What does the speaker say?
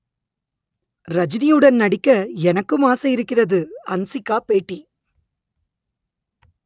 ரஜினியுடன் நடிக்க எனக்கும் ஆசை இருக்கிறது ஹன்சிகா பேட்டி